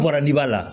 Bɔra ni b'a la